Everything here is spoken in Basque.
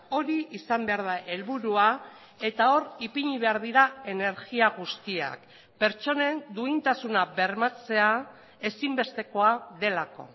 hori izan behar da helburua eta hor ipini behar dira energia guztiak pertsonen duintasuna bermatzea ezinbestekoa delako